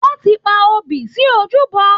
Wọn tí pa obì sí ojúbọ.